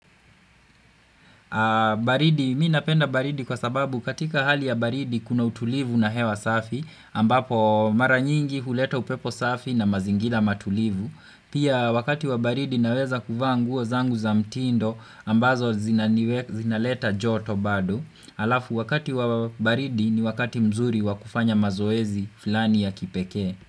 Baridi, mi napenda baridi kwa sababu katika hali ya baridi kuna utulivu na hewa safi ambapo mara nyingi huleta upepo safi na mazingira matulivu. Pia wakati wa baridi naweza kuvaa nguo zangu za mtindo ambazo zinaleta joto bado. Alafu wakati wa baridi ni wakati mzuri wa kufanya mazoezi fulani ya kipekee.